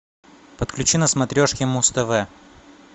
подключи на смотрешке муз тв